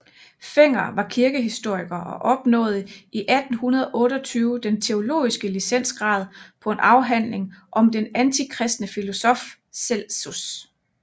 Fenger var kirkehistoriker og opnåede i 1828 den teologiske licentiatgrad på en afhandling om den antikristne filosof Celsus